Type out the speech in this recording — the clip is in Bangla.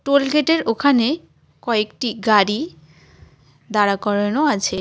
টোলগেট -এর ওখানে কয়েকটি গাড়ি দাঁড়া করানো আছে।